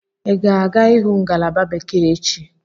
Ị ga-aga ịhụ ngalaba bekee echi?